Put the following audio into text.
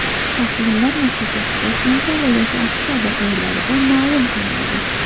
Tahlillar natijasi sentabr yoki oktabr oylarida ma’lum qilinadi.